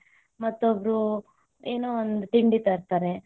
ಮತ್ತೊಬ್ಬರು ಏನೋ ಒಂದು ತಿಂಡಿ ತರ್ತಾರೆ,